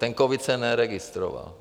Ten covid se neregistroval.